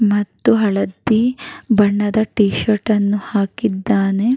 ಮತ್ತು ಹಳದಿ ಬಣ್ಣದ ಟಿ ಶರ್ಟ್ ಅನ್ನು ಹಾಕಿದ್ದಾನೆ.